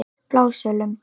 Blásölum